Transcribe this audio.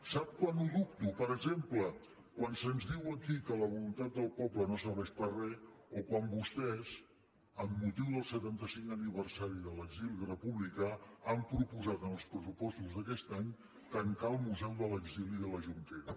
sap quan ho dubto per exemple quan se’ns diu aquí que la voluntat del poble no serveix per a res o quan vostès amb motiu del setanta cinquè aniversari de l’exili republicà han proposat en els pressupostos d’aquest any tancar el museu de l’exili de la jonquera